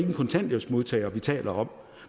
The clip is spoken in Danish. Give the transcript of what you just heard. en kontanthjælpsmodtager vi taler om